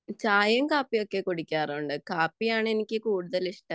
ചായയും കാപ്പിയും ഒക്കെ കുടിക്കാറുണ്ട് . കാപ്പിയാണ് എനിക്ക് കൂടുതൽ ഇഷ്ടം